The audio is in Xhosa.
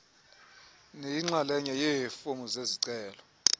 neyinxalenye yeefomu zezicelo